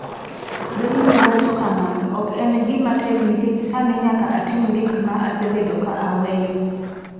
Bailey wacho kama: “Ok en gima tek nikech sani nyaka atim gik ma asebedo ka aweyo.”